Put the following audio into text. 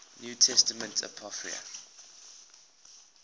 new testament apocrypha